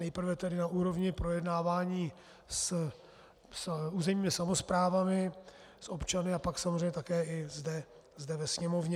Nejprve tedy na úrovni projednávání s územními samosprávami, s občany a pak samozřejmě také i zde ve Sněmovně.